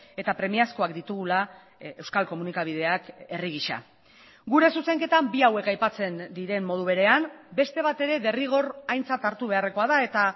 eta premiazkoak ditugula euskal komunikabideak herri gisa gure zuzenketan bi hauek aipatzen diren modu berean beste bat ere derrigor aintzat hartu beharrekoa da eta